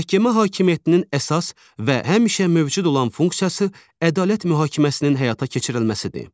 Məhkəmə hakimiyyətinin əsas və həmişə mövcud olan funksiyası ədalət mühakiməsinin həyata keçirilməsidir.